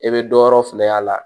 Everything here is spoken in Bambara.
I bɛ dɔ yɔrɔ filɛ y'a la